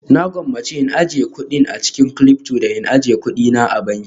Na gwammace in ajiye a cikin kudin Cilyfto da in ajiye kuɗina a banki